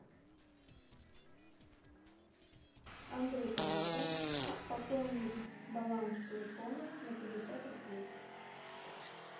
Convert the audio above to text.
андрей коллега пополнить баланс телефона на пятьдесят рублей